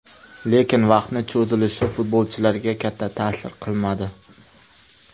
Lekin, vaqtni cho‘zilishi futbolchilarga katta ta’sir qilmadi.